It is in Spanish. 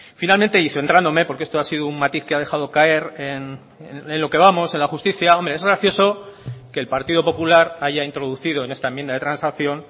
finalmente y centrándome porque esto ha sido un matiz que ha dejado caer en lo que vamos en la justicia es gracioso que el partido popular haya introducido en esta enmienda de transacción